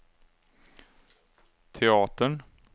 teatern